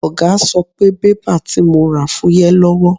Ọ̀gá sọ pé bébà tí mo rà fúyẹ́ lọ́wọ́.